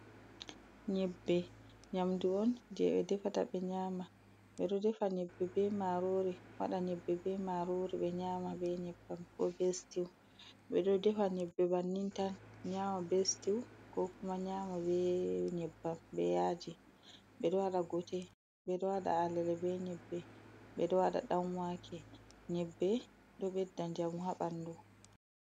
Nyebbe nyaamndu on jey ɓe defata ɓe nyaama, ɓe ɗo defa nyebbe be maaroori, ɓe ɗo waɗa nyebbe be maaroori be nyaama be nyebbam, ko be sitiw, ɓe ɗo defa nyebbe bannin tan nyaama be sitiw, koo kuma nyaama be nyebbam be yaaji, ɓe ɗo waɗa gote, ɓeɗo waɗa alele, be nyebbe, ɓe ɗo waɗa ɗanwaake, nyebbe ɗo ɓedda njamu haa banndu.